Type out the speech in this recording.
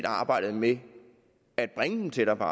arbejdet med at bringe dem tættere på